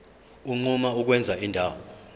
unquma ukwenza indawo